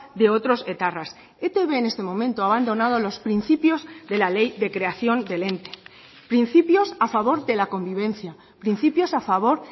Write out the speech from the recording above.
de otros etarras etb en este momento ha abandonado los principios de la ley de creación del ente principios a favor de la convivencia principios a favor